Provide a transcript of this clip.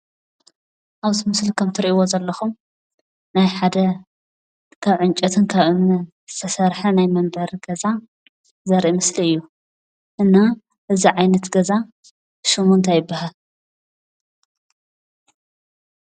ኣብዚ ምስሊ ከም እትርእይዎ ዘለኹም ናይ ሓደ ካብ ዕንጨይትን ካብ እምንን ዝተሰርሐ ናይ መንበሪ ገዛ ዘርኢ ምስሊ እዩ። እና እዚ ዓይነት ገዛ ሽሙ እንታይ ይብሃል?